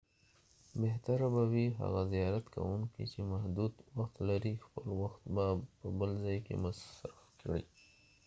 بهتره به وي هغه زیارت کوونکي چې محدود وخت لري خپل وخت په بل ځای کې مصرف کړي